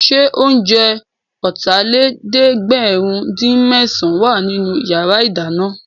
Ṣé oúnjẹ Ọ̀tàlélẹ̀ẹ́dẹ́gbẹ̀rin-dín-mésàn wà nínú yàrá ìdáná?